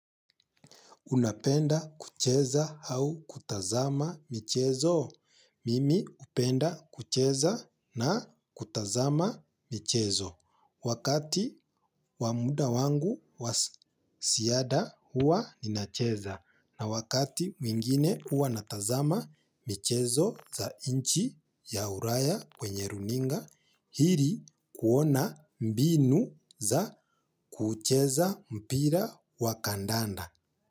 Unapenda kucheza au kutazama michezo? Mimi upenda kucheza na kutazama michezo. Wakati wamuda wangu waziada hua ninacheza. Na wakati mwingine huwa natazama michezo za nchi ya ulaya kwenye runinga, ili kuona mbinu za kucheza mpira wakandanda.